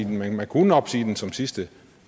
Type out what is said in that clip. nu men man kunne opsige den som sidste